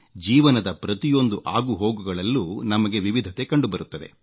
ಜೀವನದ ಪ್ರತಿಯೊಂದು ಆಗುಹೋಗುಗಳಲ್ಲೂ ನಮಗೆ ವಿವಿಧತೆ ಕಂಡುಬರುತ್ತದೆ